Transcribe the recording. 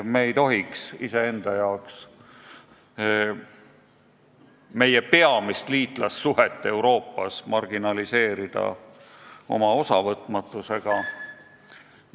Me ei tohiks iseenda jaoks meie peamist liitlassuhet Euroopas oma osavõtmatusega marginaliseerida.